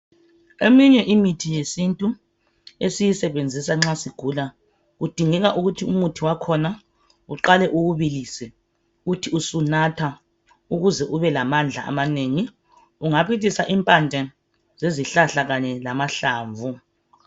Eminye imithi yesintu esiyisebenzisa nxa sigula, kudingeka ukuthi umuthi wakhona uqale uwubilise. Uthi usunatha. Ukuze ubelamandla amanengi. Ungabilisa impande zezihlahla, kanye lamahlamvu.